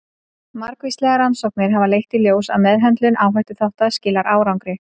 Margvíslegar rannsóknir hafa leitt í ljós að meðhöndlun áhættuþátta skilar árangri.